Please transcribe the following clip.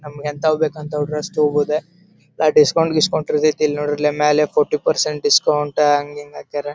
ನಮ್ಮಗೆ ಎಂತ್ವ್ ಬೇಕ ಅಂತವ್ ಡ್ರೆಸ್ ತಗೊಬೋದು ಅ ಡಿಸ್ಕೌಂಟ್ ಗೀಸ್ಕೌಂಟ್ ಇರತೈತಿ ಇಲ್ಲಿ ನೋಡ್ರಿ ಇಲ್ಲಿ ಮ್ಯಾಲೆ ಫೋರ್ಟಿ ಪರ್ಸೆಂಟ್ ಡಿಸ್ಕೌಂಟ್ ಹಂಗ್ ಹಿಂಗ ಹಾಕ್ಯಾರ.